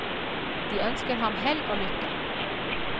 De ønsker ham hell og lykke.